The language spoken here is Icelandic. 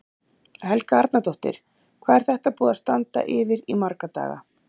Helga Arnardóttir: Hvað er þetta búið að standa yfir í marga daga?